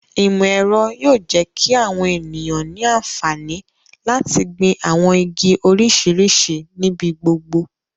Imọ-ẹrọ yóò jẹ ki awọn eniyan ni anfani lati gbin awọn igi oriṣiriṣi nibi gbogbo